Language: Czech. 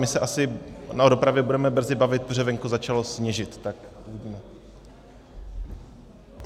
My se asi o dopravě budeme brzy bavit, protože venku začalo sněžit, tak uvidíme.